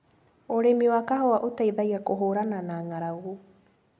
ũrimi wa kahũa ũteithagia kũhũrana na ngaragu.